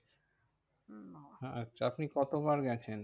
আচ্ছা আপনি কতবার গেছেন?